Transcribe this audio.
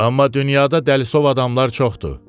Amma dünyada dəlisov adamlar çoxdur.